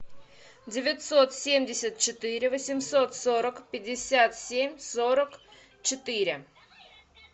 девятьсот семьдесят четыре восемьсот сорок пятьдесят семь сорок четыре